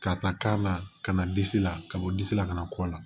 Ka taa kan na ka na disi la ka bɔ disi la kana kɔ la